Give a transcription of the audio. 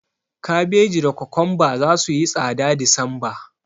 Kabeji da kokomba zasu yi tsada a Disemba.